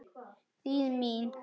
Þýð. mín.